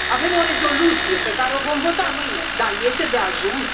Avem o rezoluție pe care o vom vota mâine, dar este de ajuns?